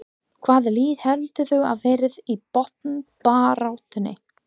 Hvaða lið heldurðu að verði í botnbaráttunni?